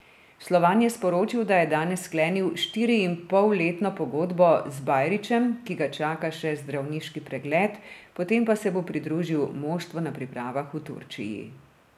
Slovan je sporočil, da je danes sklenil štiriinpolletno pogodbo z Bajrićem, ki ga čaka še zdravniški pregled, potem pa se bo pridružil moštvu na pripravah v Turčiji.